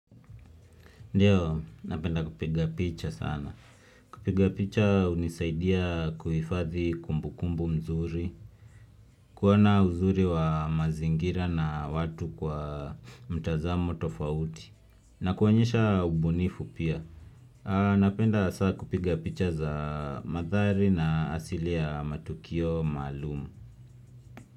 Ndiyo, napenda kupiga picha sana. Kupiga picha hunisaidia kuifadhi kumbukumbu nzuri, kuoana uzuri wa mazingira na watu kwa mtazamo tofauti, na kuwanyesha ubunifu pia. Napenda hasaa kupiga picha za madhari na asili ya matukio malumu.